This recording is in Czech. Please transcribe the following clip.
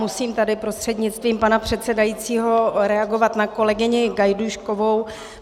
Musím tady prostřednictvím pana předsedajícího reagovat na kolegyni Gajdůškovou.